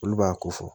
Olu b'a ko fɔ